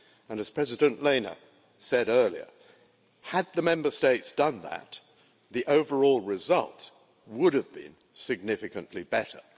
As President Lehne said earlier, had the Member States done that, the overall result would have been significantly better.